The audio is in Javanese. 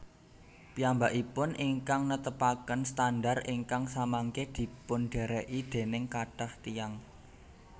Piyambakipun ingkang netepaken standar ingkang samangke dipundhèrèki dèning kathah tiyang